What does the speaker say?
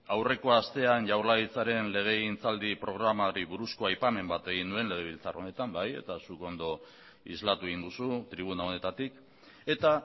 aurreko astean jaurlaritzaren legegintzaldi programari buruzko aipamen bat egin nuen legebiltzar honetan bai eta zuk ondo islatu egin duzu tribuna honetatik eta